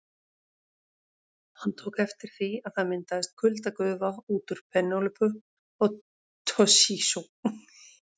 Hann tók eftir því að það myndaðist kuldagufa úr vitum Penélope og Toshizo.